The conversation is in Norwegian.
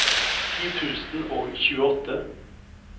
ti tusen og tjueåtte